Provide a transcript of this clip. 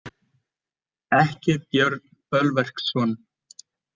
Ekki Björn Bölverksson.